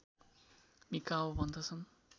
Mikao भन्दछन्